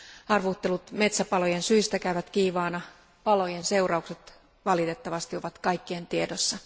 Arvuuttelut metsäpalojen syistä käyvät kiivaina, palojen seuraukset valitettavasti ovat kaikkien tiedossa.